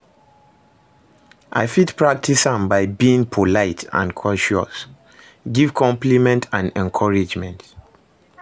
I fit practice am by being polite and courteous, give compliment and encouragement.